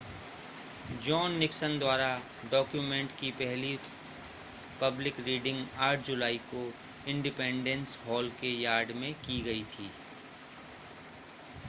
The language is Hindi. जॉन निक्सन द्वारा डॉक्यूमेंट की पहली पब्लिक रीडिंग 8 जुलाई को इंडिपेंडेंस हॉल के यार्ड में की गई थी